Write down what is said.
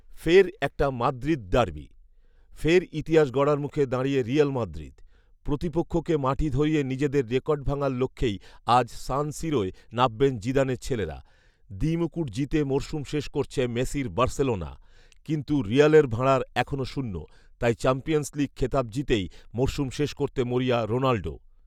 ফের একটা Madrid derby ফের ইতিহাস গড়ার মুখে দাঁড়িয়ে রিয়াল মাদ্রিদ৷ প্রতিপক্ষকে মাটি ধরিয়ে নিজেদের রেকর্ড ভাঙার লক্ষ্যেই আজ সান সিরোয় নামবেন জিদানের ছেলেরা৷ দ্বিমুকুট জিতে মরশুম শেষ করছে মেসির বার্সেলোনা৷ কিন্তু রিয়ালের ভাঁড়ার এখনও শূন্য৷ তাই চ্যাম্পিয়ন্স লিগ খেতাব জিতেই মরশুম শেষ করতে মরিয়া রোনাল্ডো৷